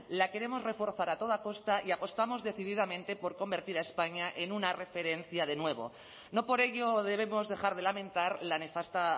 la queremos reforzar a toda costa y apostamos decididamente por convertir a españa en una referencia de nuevo no por ello debemos dejar de lamentar la nefasta